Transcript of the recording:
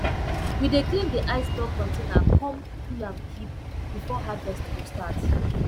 we dey clean d ice block container come cool am keep before harvest go start